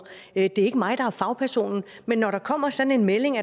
det er ikke mig der er fagpersonen men når der kommer sådan en melding